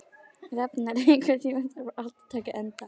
Rafnar, einhvern tímann þarf allt að taka enda.